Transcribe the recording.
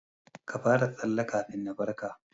Ka fara tsalle kafin na farka.